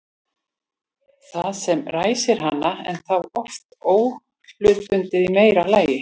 Það sem ræsir hana er þá oft óhlutbundið í meira lagi.